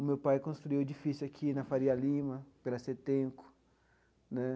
O meu pai construiu o edifício aqui na Faria Lima, pela CETENCO né.